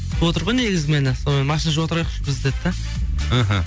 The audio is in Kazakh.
күтіп отыр ғой негізі мені сонымен машина жуа тұрайықшы біз деді да іхі